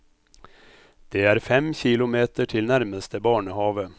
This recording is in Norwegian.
Det er fem kilometer til nærmeste barnehave.